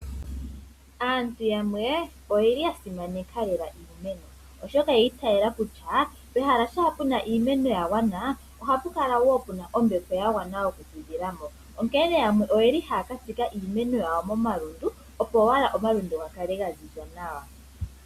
Aantu yamwe oye li ya simaneka lela iimeno, oshoka oya itayela kutya pehala shampa pu na iimeno ya gwana ohapu kala pu na ombepo ya gwana okufudhilamo. Onkene yamwe oye li haya ka tsika iimeno yawo momalundu, opo owala omalundu ga kale ga ziza nawa.